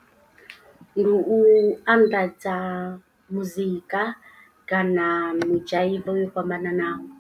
Ndi u anḓadza muzika kana mudzhaivo yo fhambananaho.